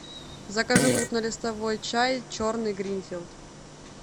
закажи крупнолистовой чай черный гринфилд